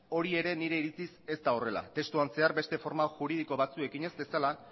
hori ere nire iritziz ez da horrela testuan zehar beste forma juridiko batzuekin ez bezala